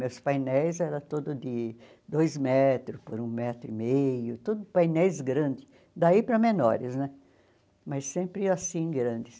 Meus painéis era todo de dois metro por um metro e meio, todo painéis grande, daí para menores né, mas sempre assim grandes.